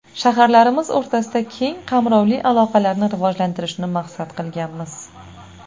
Shaharlarimiz o‘rtasida keng qamrovli aloqalarni rivojlantirishni maqsad qilganmiz.